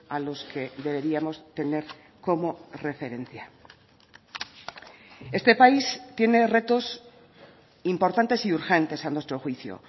a los que deberíamos tener como referencia este país tiene retos importantes y urgentes a nuestro juicio